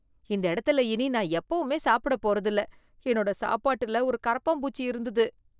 இந்த இடத்துல இனி நான் எப்பவுமே சாப்பிடப் போறதில்ல, என்னோட சாப்பாட்டுல ஒரு கரப்பான்பூச்சி இருந்தது.